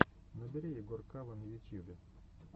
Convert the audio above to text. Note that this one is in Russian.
набери игоркава на ютьюбе